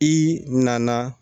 I nana